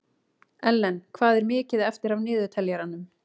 Ellen, hvað er mikið eftir af niðurteljaranum?